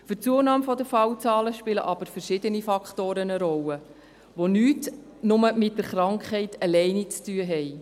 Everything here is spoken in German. Für die Zunahme der Fallzahlen spielen aber verschiedene Faktoren eine Rolle, die nicht nur mit der Krankheit allein zu tun haben.